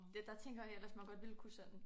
Ja der tænker jeg ellers man godt ville kunne sådan